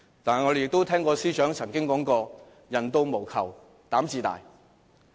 但是，我們也聽過司長曾經說過："官到無求膽自大"。